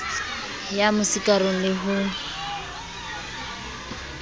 ya mo sikarong le ho